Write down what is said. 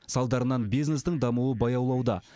салдарынан бизнестің дамуы баяулауда